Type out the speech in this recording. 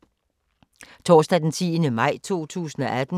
Torsdag d. 10. maj 2018